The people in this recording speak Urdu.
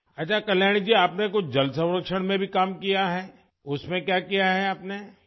ٹھیک ہے کلیانی جی، کیا آپ نے پانی کے تحفظ میں بھی کچھ کام کیا ہے؟ اس میں کیا کیا ہے آپ نے ؟